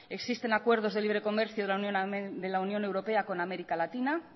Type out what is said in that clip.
existen acuerdos de libre comercio de la unión europea con américa latina